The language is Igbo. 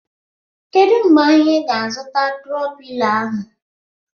Kedụ mgbe anyị ga -azuta tro pilo ahụ?